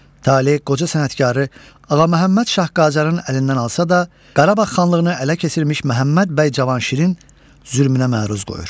Tale qoca sənətkarı Ağa Məhəmməd Şah Qacarın əlindən alsa da, Qarabağ xanlığını ələ keçirmiş Məhəmməd bəy Cavanşirin zülmünə məruz qoyur.